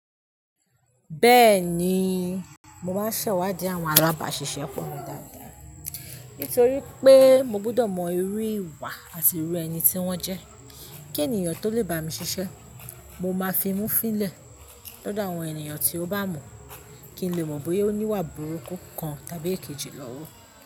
Bẹ́ẹ̀ni, mo máa ń ṣẹ̀wádìí àwọn alábàṣiṣẹ́ fún mi dáadáa, nítorí pé mo gbudọ̀ mọ irú ìwà àti irú ẹni tí wọ́n jẹ́, kí ènìyàn tó lè bá mi ṣiṣẹ́ mo máa fi mú fílẹ̀ lọ́dọ̀ àwọn ènìyàn tí ó bá mọ̀ kí n lè mọ̀ bóyá ó ní ìwà burúkú kan tàbí èkejì lọ́wọ́